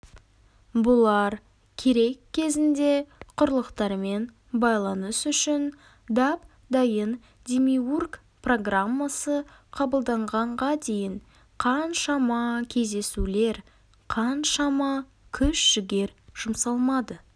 бұлар керек кезінде құрлықтармен байланыс үшін дап-дайын демиург программасы қабылданғанға дейін қаншама кездесулер қаншама күш-жігер жұмсалмады